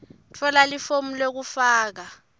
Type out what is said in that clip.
tfola lifomu lekufaka